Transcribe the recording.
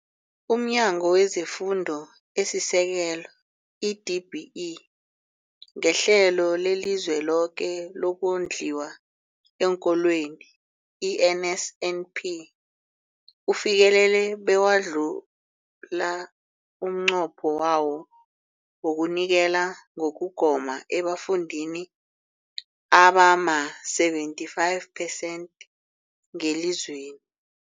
UmNyango wezeFundo esiSekelo, i-DBE, ngeHlelo leliZweloke lokoNdliwa eenKolweni, i-NSNP, ufikelele bewadlula umnqopho wawo wokunikela ngokugoma ebafundini abama-75 percent ngelizweni.